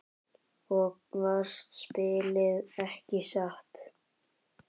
Og vannst spilið, ekki satt?